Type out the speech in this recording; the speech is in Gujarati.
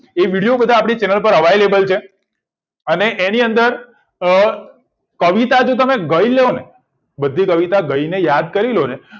એ બધા વિડીઓ આપડી channel પર available છે અને એની અંદર અ કવિતા જો તમે ગઈ લોને બધી કવિતા ગઈ ને યાદ કરી લોને